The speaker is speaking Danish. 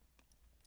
TV 2